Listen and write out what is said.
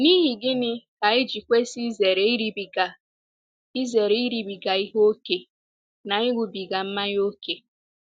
N’ihi gịnị ka anyị ji kwesị izere iribiga izere iribiga ihe ókè na ịṅụbiga mmanya ókè?